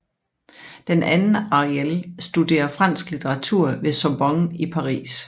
Den anden Ariel studerer fransk litteratur ved Sorbonne i Paris